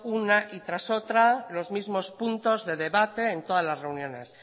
una y tras otra los mismos puntos de debate en todas las reuniones